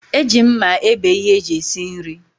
Eji mma ebe ihe eji esi nri